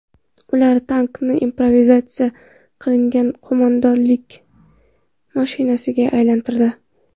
Ular tankni improvizatsiya qilingan qo‘mondonlik mashinasiga aylantirdi.